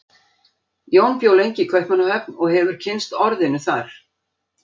Jón bjó lengi í Kaupmannahöfn og hefur kynnst orðinu þar.